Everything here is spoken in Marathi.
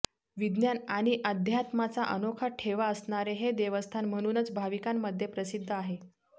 विज्ञान आणि अध्यात्माचा अनोखा ठेवा असणारे हे देवस्थान म्हणूनच भाविकांमध्ये प्रसिद्ध आहे